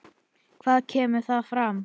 Hvað kemur þar fram?